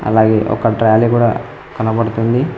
అలాగే ఒక ట్రాలీ కూడా కనబడుతుంది